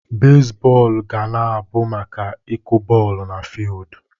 Bezbọọlụ ga na-abụ maka ịkụ bọọlụ n'fiudu.